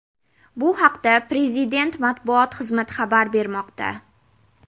Bu haqda Prezident matbuot xizmati xabar bermoqda.